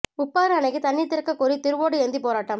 உப்பாறு அணைக்குத் தண்ணீா் திறக்கக்கோரி திருவோடு ஏந்திப் போராட்டம்